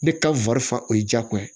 Ne ka o ye jago ye